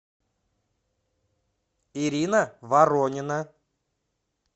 ирина воронина